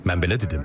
Mən belə dedim.